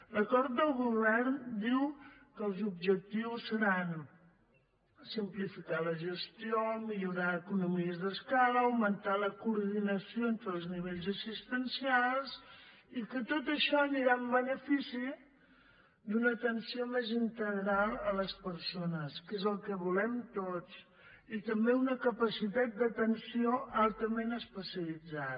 l’acord de govern diu que els objectius seran simplificar la gestió millorar economies d’escala augmentar la coordinació entre els nivells assistencials i que tot això anirà en benefici d’una atenció més integral a les persones que és el que volem tots i també una capacitat d’atenció altament especialitzada